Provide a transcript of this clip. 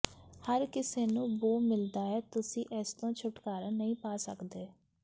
ਹਰ ਕਿਸੇ ਨੂੰ ਬੋ ਮਿਲਦਾ ਹੈ ਤੁਸੀਂ ਇਸ ਤੋਂ ਛੁਟਕਾਰਾ ਨਹੀਂ ਪਾ ਸਕਦੇ